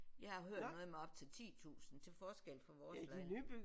Jeg har hørt noget med op til 10 tusind til forskel fra vores lejlighed